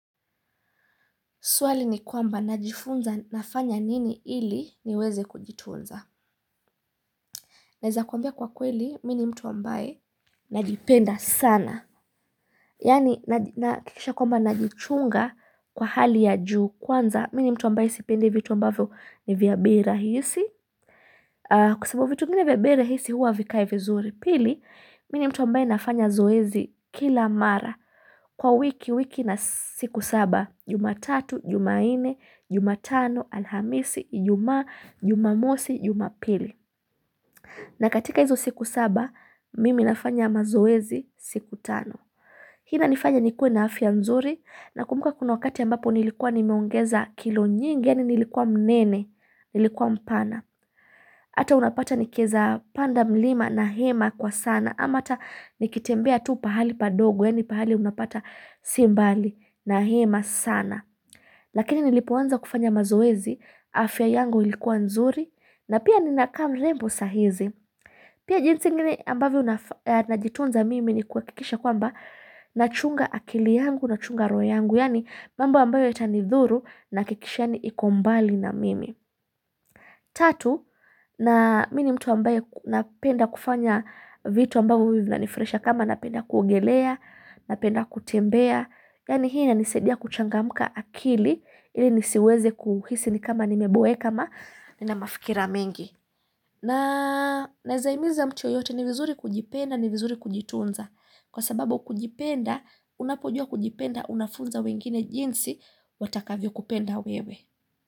Swali ni kwamba najifunza nafanya nini ili niweze kujitunza Naeza kuambia kwa kweli mini mtu ambaye najipenda sana yani naj nahakikisha kwamba najichunga kwa hali ya juu kwanza mini mtu ambaye sipendi vitu ambavyo ni vya bei rahisi kwa sababu vitu vingi vya bei rahisi huwa vikai vizuri pili mini mtu ambaye nafanya zoezi kila mara Kwa wiki wiki na siku saba, jumatatu, jumanne, jumatano, alhamisi, ijumaa, jumamosi, jumapili na katika hizo siku saba, mimi nafanya mazoezi siku tano Hii inanifanya nikue na afya mzuri, na kumbuka kuna wakati ambapo nilikuwa nimeongeza kilo nyingi, ya ni nilikuwa mnene, nilikuwa mpana Hata unapata nikieza panda mlima na hema kwa sana, ama hata nikitembea tu pahali padogo, ya ni pahali unapata simbali na hema sana lakini nilipoanza kufanya mazoezi afya yangu ilikuwa nzuri na pia nina kaa mrembo sahizi pia jinsi ingine ambavyo naf najitunza mimi ni kuakikisha kwamba nachunga akili yangu nachunga roho yangu yani mambo ambayo yata nithuru nakikisha ni ikombali na mimi tatu na mini mtu ambaye napenda kufanya vitu ambavo mimi vinanifraisha kama napenda kuogelea napenda kutembea Yani hii na nisidia kuchangamka akili ili nisiweze kuhisi ni kama nimeboe kama nina mafikira mengi na Nea zaimiza mtu yeyote ni vizuri kujipenda ni vizuri kujitunza Kwa sababu kujipenda unapojua kujipenda unafunza wengine jinsi watakavyo kupenda wewe.